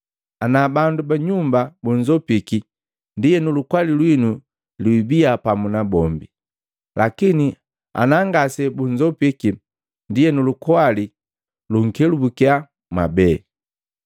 Ana bandu ba nyumba bunzopiki, ndienu lukwali lwinu lwibiya pamu nabombi. Lakini anangasebunzopiki, ndienu lukwali lukunkelabukia mwabee.